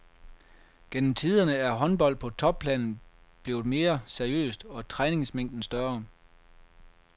Gennem tiderne er håndbold på topplan blevet mere seriøst, og træningsmængden større.